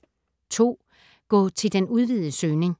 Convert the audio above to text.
Gå til den udvidede søgning